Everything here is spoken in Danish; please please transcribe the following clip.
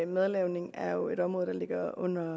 madlavning er jo et område der ligger under